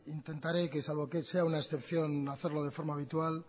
intentaré que salvo que sea una excepción hacerlo de forma habitual